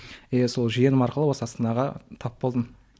иә сол жиенім арқылы осы астанаға тап болдым